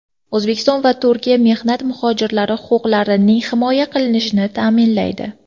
O‘zbekiston va Turkiya mehnat muhojirlari huquqlarining himoya qilinishini ta’minlaydi.